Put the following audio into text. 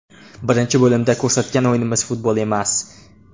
Birinchi bo‘limda ko‘rsatgan o‘yinimiz futbol emas.